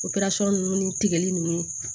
ninnu ni tigɛli nunnu